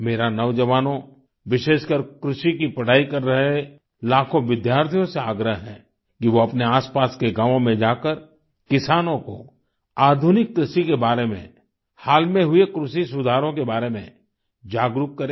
मेरा नौजवानों विशेषकर कृषि की पढ़ाई कर रहे लाखों विद्यार्थियों से आग्रह है कि वो अपने आसपास के गावों में जाकर किसानों को आधुनिक कृषि के बारे में हाल में हुए कृषि सुधारो के बारे में जागरूक करें